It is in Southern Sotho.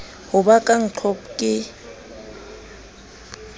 ho ba ka ncop ke